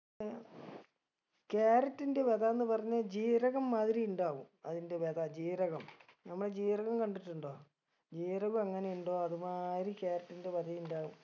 carrot ൻറെ വെതാന്ന് പറഞ്ഞ ജീരകം മാതിരി ഇണ്ടാവും അതിൻറെ വെത ജീരകം നമ്മളെ ജീരകം കണ്ടിട്ടുണ്ടോ ജീരകം എങ്ങനെയുണ്ടോ അതു മാതിരി carrot ൻറെ വെത ഇണ്ടാവും